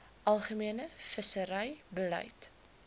algemene visserye beleid